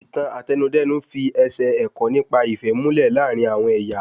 Ìtàn Àtẹnudẹ́nu fi ẹsẹ̀ ẹ̀kọ́ nípa ìfẹ́ múlẹ̀ láàrín àwọn ẹyà